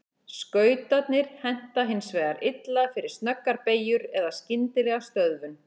Skautarnir henta hins vegar illa fyrir snöggar beygjur eða skyndilega stöðvun.